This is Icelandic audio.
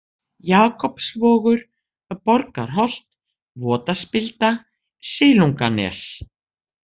Jakobsvogur, Borgarholt, Votaspilda, Silunganes